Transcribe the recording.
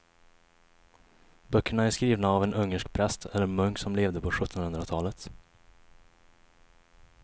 Böckerna är skrivna av en ungersk präst eller munk som levde på sjuttonhundratalet.